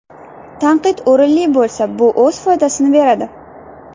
Tanqid o‘rinli bo‘lsa, bu o‘z foydasini beradi.